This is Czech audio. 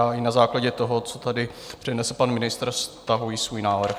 Já, i na základě toho, co tady přednesl pan ministr, stahuji svůj návrh.